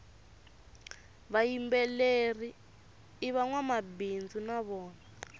vayimbeleri ivangwamabindzu navona